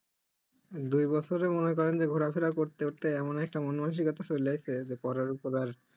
দুই বছরে মনে করেন যে ঘোরাফেরা করতে করতে এমন একটা মন মানসিকতা চলে এসছে যে পড়ার উপর আর